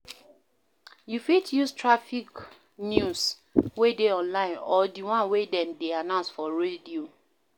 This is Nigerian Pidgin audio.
You fit use traffic news wey dey online or di one wey dem dey announce for radio